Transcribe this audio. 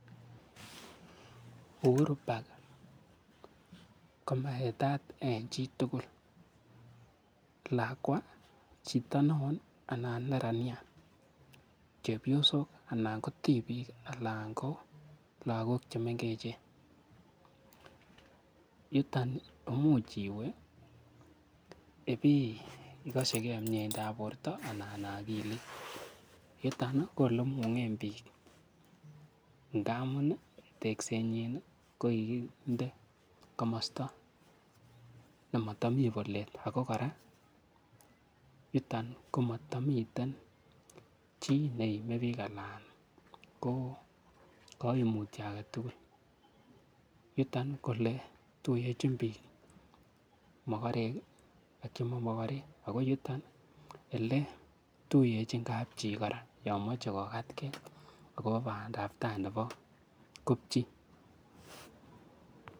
Uhuru park komaetat eng chitugul lakwa chito neo anan neranyat chepyosok ana ko tipiik alan ko lakok chemengechen yuton muuch iwe ipikoshikei mieindap borto ana akilit yuton ko ole imungen piik ndamun teksetnyin ko kikinde komosta nematami polet ako kora yuton komatamiten chii nemie biik anan ko kaimutio ake tugul yuto ko ole tuyechin biik mokorek ak chima mokorek ako yuton ele tuyechin kapchii kora yoimoche kokatkei akot bandaptai nepo kopchi